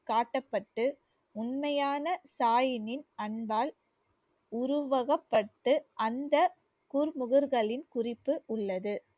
காட்டப்பட்டு உண்மையான தாயினின் அன்பால் உருவகப்பட்டு அந்த குர்முகர்களின் குறிப்பு உள்ளது